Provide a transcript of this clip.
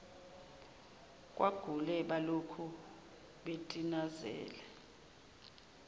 kwagule balokhu betinazele